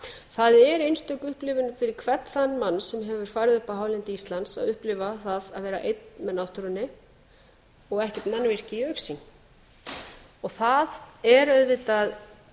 það er einstök upplifun fyrir hvern þann mann sem hefur farið upp á hálendi íslands að upplifa það að vera einn með náttúrunni og ekkert mannvirki í augsýn og það er auðvitað